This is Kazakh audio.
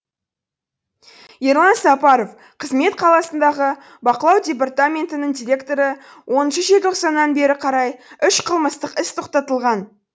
ерлан сапаров қызмет саласындағы бақылау департаментінің директоры оныншы желтоқсаннан бері қарай үш қылмыстық іс тоқтатылған